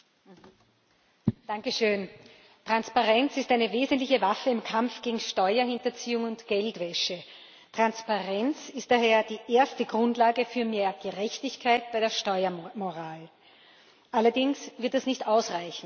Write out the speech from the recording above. Herr Präsident! Transparenz ist eine wesentliche Waffe im Kampf gegen Steuerhinterziehung und Geldwäsche. Transparenz ist daher die erste Grundlage für mehr Gerechtigkeit bei der Steuermoral allerdings wird das nicht ausreichen.